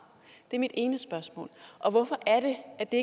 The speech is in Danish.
det er mit ene spørgsmål hvorfor er det at det